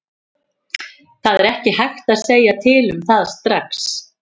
Það er ekki hægt að segja til um það strax.